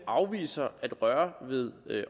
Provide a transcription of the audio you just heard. afviser at røre ved